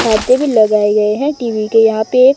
छाते भी लगाए गएं हैं टीवी के यहां पे।